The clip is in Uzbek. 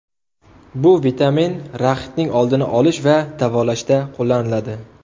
Bu vitamin raxitning oldini olish va davolashda qo‘llaniladi.